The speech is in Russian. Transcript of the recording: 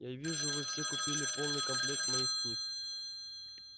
я вижу вы все купили полный комплект моих книг